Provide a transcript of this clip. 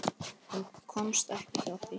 Hún komst ekki hjá því.